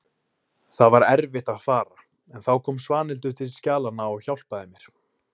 Það var erfitt að fara en þá kom Svanhildur til skjalanna og hjálpaði mér.